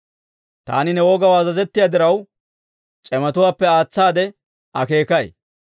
Taani ne wogaw azazettiyaa diraw, c'imatuwaappe aatsaade akeekay.